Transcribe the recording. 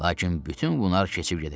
Lakin bütün bunlar keçib gedəcək.